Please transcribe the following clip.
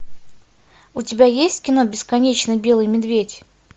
у тебя есть кино бесконечно белый медведь